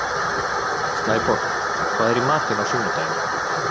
Snæborg, hvað er í matinn á sunnudaginn?